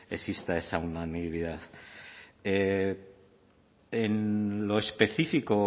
exista esa unanimidad en lo específico o